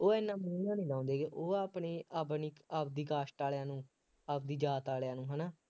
ਉਹ ਐਨਾ ਮੂੰਹ ਜਿਹਾ ਨਹੀਂ ਲਾਉਂਦੇ ਹੈਗੇ, ਉਹ ਆਪਣੀ ਆਪਣੀ ਆਪਦੀ cast ਵਾਲਿਆਂ ਨੂੰ ਆਪਦੀ ਜਾਤ ਵਾਲਿਆਂ ਨੂੰ ਹੈ ਨਾ